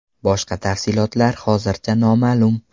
Boshqa tafsilotlar hozircha noma’lum.